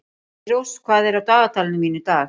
Eyrós, hvað er á dagatalinu mínu í dag?